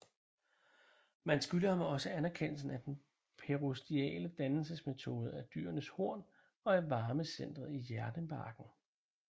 Man skylder ham også erkendelsen af den periostale dannelsesmetode af dyrenes horn og af varmecentret i hjernebarken